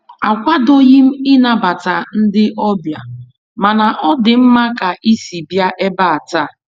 Akwadoghị m ịnabata ndị ọbịa, mana ọ dị mma ka isi bịa ebe a taa.